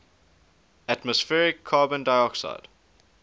atmospheric carbon dioxide